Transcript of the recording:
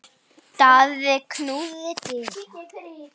Daði knúði dyra.